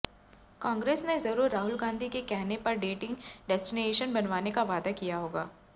कांग्रेस ने जरूर राहुल गांधी के कहने पर डेटिंग डेस्टिनेशन बनवाने का वादा किया होगा